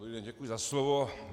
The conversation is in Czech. Dobrý den, děkuji za slovo.